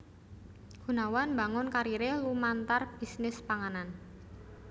Gunawan mbangun kariré lumantar bisnis panganan